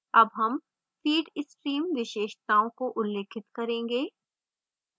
अब हम feed stream विशेषताओं को उल्लिखित करेंगे